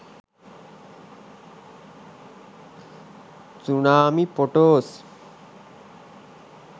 tsunami photos